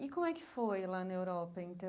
E como é que foi lá na Europa,